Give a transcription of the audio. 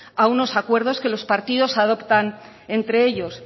a unos acuerdos que los partidos adoptan entre ellos